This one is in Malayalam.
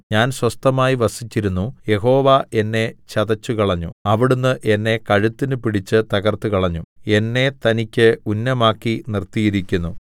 ഞാൻ സ്വസ്ഥമായി വസിച്ചിരുന്നു യഹോവ എന്നെ ചതച്ചുകളഞ്ഞു അവിടുന്ന് എന്നെ കഴുത്തിന് പിടിച്ച് തകർത്തുകളഞ്ഞു എന്നെ തനിക്ക് ഉന്നമാക്കി നിർത്തിയിരിക്കുന്നു